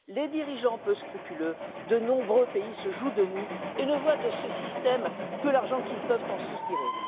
Les dirigeants peu scrupuleux de nombreux pays se jouent de nous et ne voient de ce système que l'argent qu'ils peuvent en soutirer.